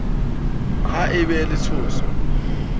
ha e ba le tshoso